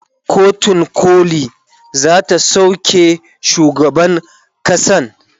kotun koli zata sauke shugaban kasan